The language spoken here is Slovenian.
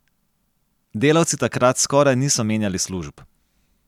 Delavci takrat skoraj niso menjali služb.